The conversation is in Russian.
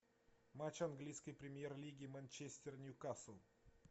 матч английской премьер лиги манчестер ньюкасл